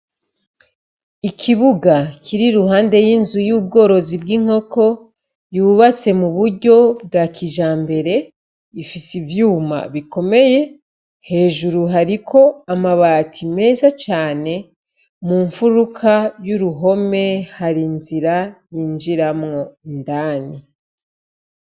Ikibuga kiri iruhande y'inzu y'ubworozi bw'inkoko, yubatse muburyo bwakijambere, ifis'ivyuma bikomeye, hejuru hariko amabati meza cane ,mu mfuruka y'uruhome har'inzira yinjiramwo indani.